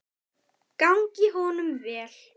Gangi honum vel!